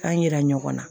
K'an yira ɲɔgɔn na